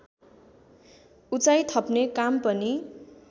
उचाई थप्ने काम पनि